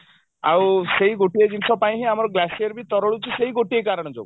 ଆଉ ସେଇ ଗୋଟିଏ ଜିନିଷ ପାଇଁ ହିଁ ଆମର glacier ବି ତରଳୁଛି ସେଇ ଗୋଟିଏ କାରଣ ଯୋଗୁ